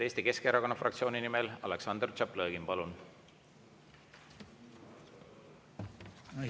Eesti Keskerakonna fraktsiooni nimel Aleksandr Tšaplõgin, palun!